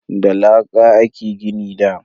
Da laƙa a ke gini da